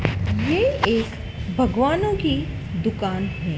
ये एक भगवानों की दुकान है।